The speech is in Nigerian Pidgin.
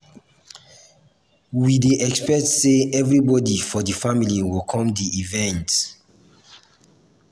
we dey expect sey everybodi for di family go come di event.